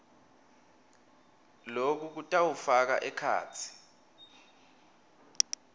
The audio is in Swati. loku kutawufaka ekhatsi